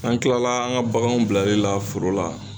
N'an kilala an ka baganw bilali la foro la